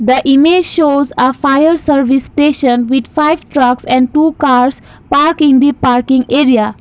the image shows a fire service station with five trucks and two cars park in the parking area.